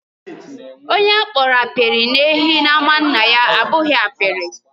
Onye a kpọrọ apiri na_ehi n'ámá nna ya abụghị apiri.